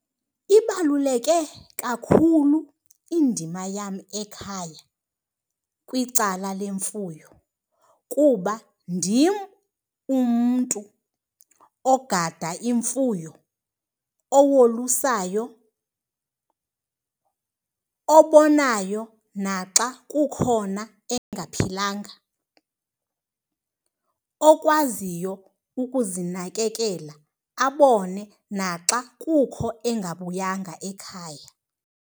Ibaluleke kakhulu indima yam ekhaya kwicala lwemfuyo kuba ndim umntu ogada imfuyo, owolusayo, obonayo naxa kukhona engaphilanga. Okwaziyo ukuzinakekela abone naxa kukho engabuyanga ekhaya.